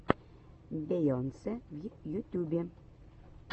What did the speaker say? бейонсе в ютюбе